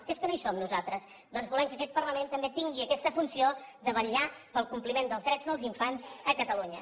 que és que no hi som nosaltres doncs volem que aquest parlament també tingui aquesta funció de vetllar pel compliment dels drets dels infants a catalunya